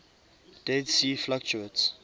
dead sea fluctuates